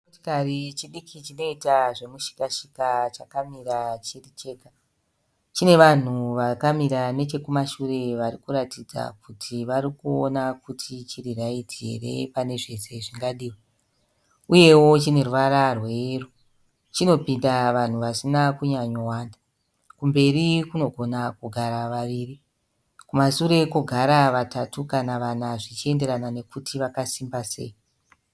Chimotikari chidiki chinoita zvemushika shika chakamira chiri chega. Chine vanhu vakamira nechekumashure varikuratidza kuti varikuona kuti chiri right here pane zvese zvingadiwe. Uyewo chine ruvara rwe yero. Chinopinda vanhu vasina kunyanyo wanda. Kumberi kunogona kugara vaviri, kumashure kwogara vatatu kana vana zvichienderana nekuti vakasimba sei.